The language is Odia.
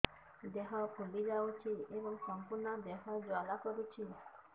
ଦେହ ଫୁଲି ଯାଉଛି ଏବଂ ସମ୍ପୂର୍ଣ୍ଣ ଦେହ ଜ୍ୱାଳା କରୁଛି